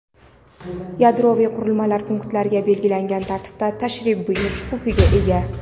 yadroviy qurilmalar punktlariga belgilangan tartibda tashrif buyurish huquqiga ega.